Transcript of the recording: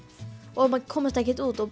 og um að komast ekki út og